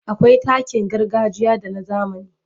Akwai takin gargajiya da na zamani.